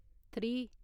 three